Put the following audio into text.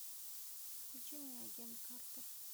включи мне агент картер